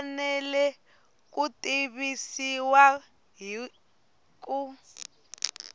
fanele ku tivisiwa hi ku